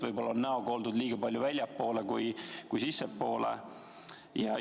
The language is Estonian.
Võib-olla on näoga oldud liiga palju väljapoole ja liiga vähe sissepoole?